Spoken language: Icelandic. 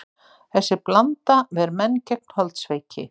Þessi blanda ver menn gegn holdsveiki.